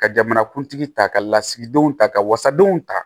Ka jamanakuntigi ta ka lasigidenw ta ka wasadenw ta